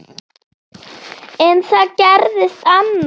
En það gerðist annað.